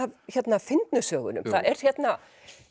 af fyndnu sögunum það er hérna